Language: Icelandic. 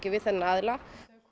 við þennan aðila